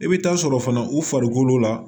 I bɛ taa sɔrɔ fana u farikolo la